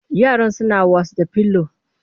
Yaran suna was da pillow